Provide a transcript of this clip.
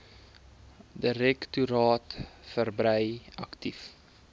direktoraat verbrei aktief